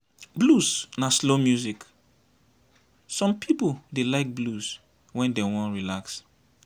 blues na slow music some pipo dey like blues when dem wan relax